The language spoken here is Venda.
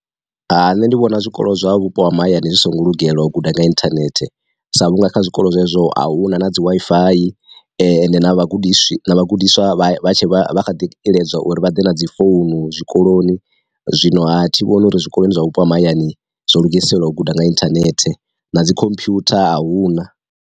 Hai nṋe ndi vhona zwikolo zwa vhupo ha mahayani zwi songo lugelwa guda nga inthanethe sa vhunga kha zwikolo zwezwo a huna na dzi Wi-Fi, ende na vha gudiswa vha gudiswa vha tshe iledzwa uri vha ḓe na dzi founu zwikoloni, zwino ha thi vhoni uri zwikoloni zwa vhupo ha mahayani zwo lugiselwa u guda nga inthanethe, na dzi khomphwutha a huna.